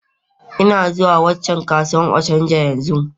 Ina zuwa waccan kasuwar Ochanja yanzu.